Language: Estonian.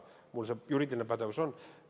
Mul see juriidiline pädevus on.